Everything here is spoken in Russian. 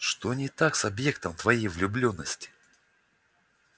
что не так с объектом твоей влюблённости